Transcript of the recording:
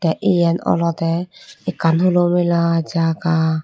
eyen olodey ekkan hulo mela jaga.